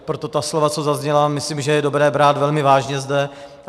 Proto ta slova, co zazněla, myslím, že je dobré brát velmi vážně zde.